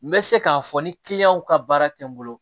N bɛ se k'a fɔ ni ka baara tɛ n bolo